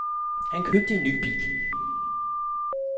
Han købte en ny bil.